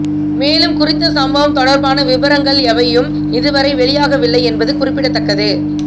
மேலும் குறித்த சம்பவம் தொடர்பான விபரங்கள் எவையும் இதுவரை வெளியாகவில்லை என்பது குறிப்பிடத்தக்கது